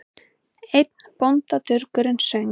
Einn bóndadurgurinn söng